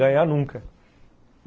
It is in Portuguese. Ganhar, nunca.